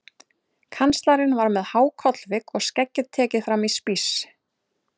Kanslarinn var með há kollvik og skeggið tekið fram í spíss.